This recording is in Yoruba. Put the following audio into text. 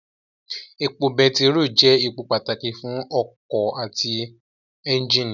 Epo bẹntiró jẹ́ èpò pàtàkì fún ọkọ̀ àti ẹ́njìnì